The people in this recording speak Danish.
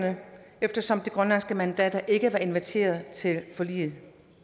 eftersom de grønlandske mandater ikke var inviteret til forliget